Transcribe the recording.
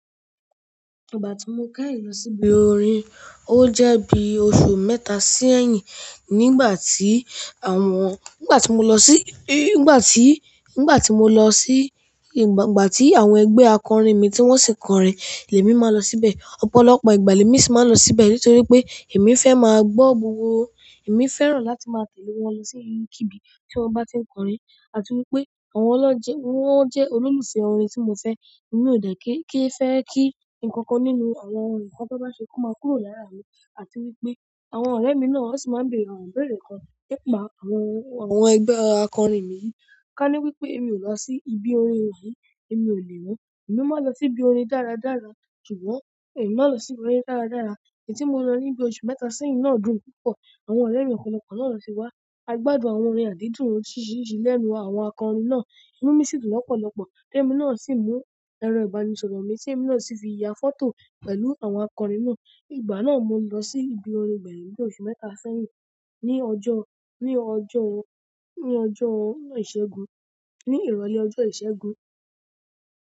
Ìgbà tí mo kẹ́yìn lọ síbi orin, ó jẹ́ bí oṣù mẹ́ta sẹ́yìn nígbà tí àwọn-- nígbà tí mo lọ sí-- nígbà tí, nígbà tí mo lọ sí-- nígbà tí àwọn ẹgbẹ́ akọrin mi tí wọ́n sì ń kọrin, lèmi máa lọ síbẹ̀. Ọ̀pọ̀lọpọ̀ ìgbà lèmi sì máa ń lọ síbẹ̀ nítorí pé èmi fẹ́ máa gbọ́ gbogbo. Èmi fẹ́ràn láti máa tẹ̀lé wọn lọ sí ibi kíbí tí wọ́n bá tí ń kọrin àti wípé àwọn ọlọ́jẹ̀ wọ́n jẹ́ olólùfẹ́ orin tí mo fẹ́. Emi o de ki n fe ki nkankan nínú àwọn nkan ti wọn ba se ko ma kúrò ni ara mi àti wípé àwọn ọrẹ mi náà wọn si ma n bere àwọn ibere kan to je wípé ma fi àwọn ẹgbẹ akọrin yìí kani wípé emi o ba si ni bi orin yìí èmi ò lè mọ, èmi máa lọ sí ibi orin dáradára. Ṣùgbọ́n èmi máa lọ sí ibi orin dáradára. Ẹ̀yì ti mo lọ níbi oṣù mẹ́ta sẹ́yìn náà dùn púpọ̀. Àwọn ọ̀rẹ́ mi ọ̀pọ̀lọpọ̀ náà lo sí wá. A gbádùn àwọn orin àdídùn oríṣiríṣi lẹ́nu àwọn akọrin náà. Ìnú mi sì dùn lọ́pọ̀lọpọ̀. Lẹ́mi náà sì mú ẹrọ ìbánisọ̀rọ̀ mi tí èmi náà sì fi ya fọ́tò pẹ̀lú àwọn akọrin náà. Ìgbà náà mo lọ sí ibi orin gbẹ́yin ni bí oṣù mẹ́ta sẹ́yìn ní ọjọ́, ní ọjọ́, ní ọjọ́ ìṣẹ́gun, ní ìrọ̀lẹ́ ọjọ́ ìṣẹ́gun.